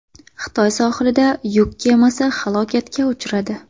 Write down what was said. Xitoy sohilida yuk kemasi halokatga uchradi.